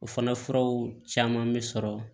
O fana furaw caman bɛ sɔrɔ